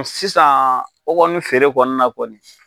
Sisan o kɔni feere kɔni na kɔni.